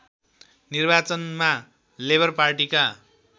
निर्वाचनमा लेबर पार्टीका